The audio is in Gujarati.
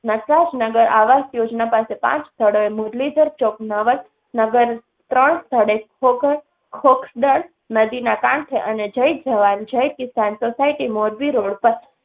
નટરાજ નગર આવાસ યોજના પાસે પાંચ સ્થળોએ મુરલીધર ચોક, નવસ નગર ત્રણ સ્થળે ખોખર, ખોખદલ, નદીના કાંઠે અને જય જવાન જય કિસાન સોસાયટી મોરબી રોડ પર